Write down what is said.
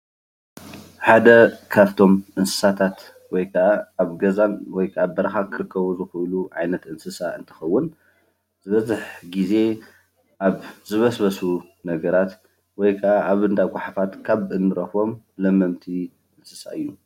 ሓደ ካብቶም እንስሳታት ወይ ከዓ ኣብ ገዛን ወይ ከዓ በረካ ዝርከቡ ዝክእሉ ዓይነት እንስሳ እንትከውን ዝበዝሕ ግዜ ኣብ ዝበስበሱ ነገራት ወይ ከዓ እንዳጓሓፋት ካብ እንረክቦም ለመምቲ እንስሳ እዩ፡፡